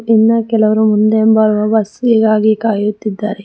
ಇನ್ನ ಕೆಲವರು ಮುಂದೆ ಬರುವ ಬಸ್ಸಿಗಾಗಿ ಕಾಯುತ್ತಿದ್ದಾರೆ.